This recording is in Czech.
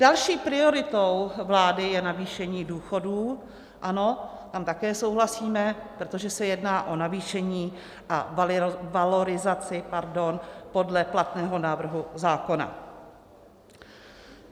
Další prioritou vlády je navýšení důchodů, ano, tam také souhlasíme, protože se jedná o navýšení a valorizaci podle platného návrhu zákona.